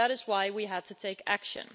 That is why we had to take action.